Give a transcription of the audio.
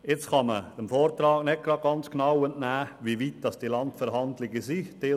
Man kann dem Vortrag nicht eindeutig entnehmen, wie weit die Landverhandlungen vorangeschritten sind.